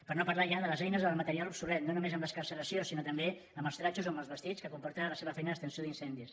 per no parlar ja de les eines del material obsolet no només en l’excarceració sinó també en els trajos o en els vestits que comporta la seva feina d’extinció d’incendis